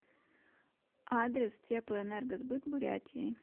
адрес теплоэнергосбыт бурятии